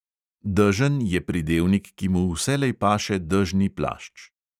Dežen je pridevnik, ki mu vselej paše dežni plašč.